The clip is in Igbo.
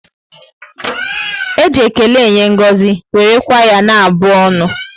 E ji ékélé enye ngọzi, wéré kwa ya na abụ ọnụ